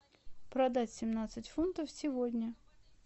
продать семнадцать фунтов сегодня